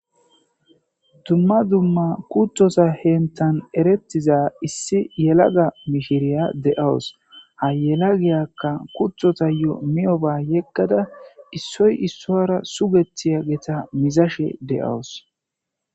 Dzumma dzumma kuththosa henththan ereththiza issi yelaga mishiriya de7awus; ha yelagiyakka kuththothayoo miyooba yeggada issoy issuwaara sugeththiyaagetha mizashe de7awus.